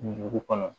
Dugu kɔnɔ